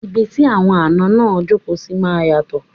Ibi tí àwọn àná máa jókòó sí máa yàtò